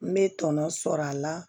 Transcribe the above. N bɛ tɔnɔ sɔrɔ a la